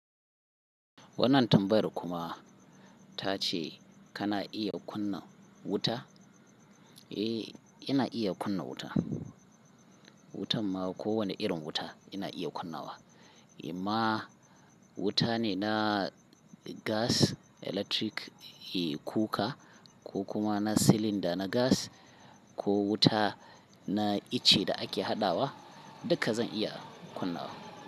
Wannan tambayar kuma ta ce kana iya kunna wuta? Eh, ina iya kunna wuta. Wutan ma ko wani irin wuta ina iya kunna wa. In ma wuta ne na gas, electric, eh, kuka ko kuma na silinda na gas ko wuta na ice da ake haɗawa, duka zan iya kunna wa.